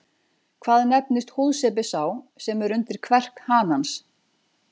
Hvað nefnist húðsepi sá sem er undir kverk hanans?